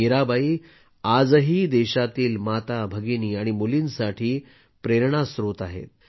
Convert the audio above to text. मीराबाई आजही देशातील माता भगिनी आणि मुलींसाठी प्रेरणास्त्रोत आहेत